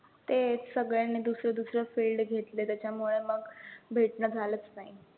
तेच सगळ्यांनी दुसरे दुसरे field घेतले, त्याच्यामुळे मग भेटणं झालचं नाही.